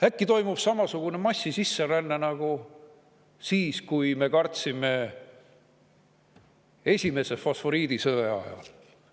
Äkki toimub samasugune massiline sisseränne nagu see, mida me kartsime esimese fosforiidisõja ajal?